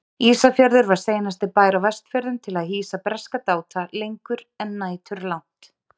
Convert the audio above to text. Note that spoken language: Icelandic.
Ísafjörður var seinasti bær á Vestfjörðum til að hýsa breska dáta lengur en næturlangt.